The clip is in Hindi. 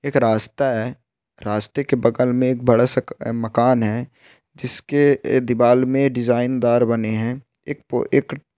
एक रास्ता है रास्ते के बगल में एक बड़ा सा मकान है जिसके दीवाल में डिज़ाइन दार बने है एक एक --